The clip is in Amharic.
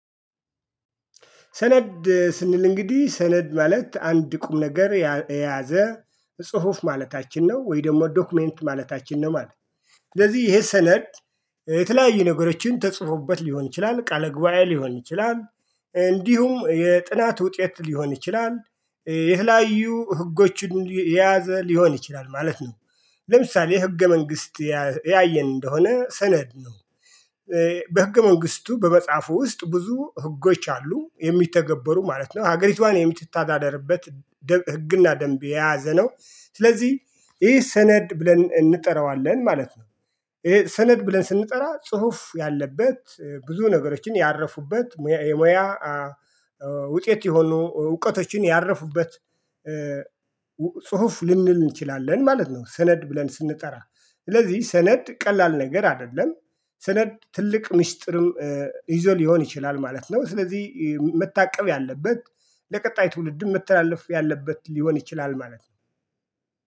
ሰነድ ስንል እንግዲህ ሰነድ ማለት አንድ ቁም ነገር የያዘ ጽሁፍ ማለታችን ነው ወይ ደግሞ ዶክመንት ማለታችን ነው ማለት ነው። ስለዚህ ይሄ ሰነድ የተለያዩ ነገሮችን ተጽፎበት ሊሆን ይችላል ቃል ጉባኤ ሊሆን ይችላል። እንዲሁም የጥናት ውጤት ሊሆን ይችላል። የተለያዩ ህጎችን የያዘ ሊሆን ይችላል ማለት ነው። ለምሳሌ ህገ መንግስት ያየን እንደሆነ ሰነድ ነው። በህገ መንግስቱ በመጽሐፉ ውስጥ ብዙ ህጎች አሉ የሚተገበሩ ማለት ነው ሀገሪቷን የምትተዳደርበት ህግና ደንብ የያዘ ነው። ስለዚህ ይሄ ሰነድ ብለን እንጠራዋለን ማለት ነው። ይሄ ሰነድ ብለን ስንጠራ ጽሁፍ ያለበት ብዙ ነገሮችን ያረፉበት የሙያ ውጤት የሆኑ እውቀቶችን ያረፉበት ጽሁፍ ልንል እንችላለን ማለት ነው። ሰነድ ብለን ስንጠራ ስለዚህ ሰነድ ቀላል ነገር አይደለም። ሰነድ ትልቅ ሚስጥርም ይዞ ሊሆን ይችላል ማለት ነው። ስለዚህ መታቀብ ያለበት ለቀጣይ ትውልድም መተላለፍ ያለበት ሊሆን ይችላል ማለት ነው